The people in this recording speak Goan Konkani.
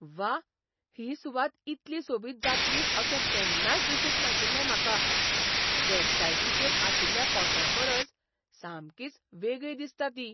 व्वा! ही सुवात इतली सोबीत जातली अशें केन्नाच दिसूंक नाशिल्लें म्हाका. वॅबसायटीचेर आशिल्ल्या फोट्यांपरस सामकीच वेगळी दिसता ती.